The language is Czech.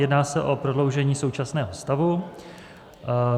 Jedná se o prodloužení současného stavu.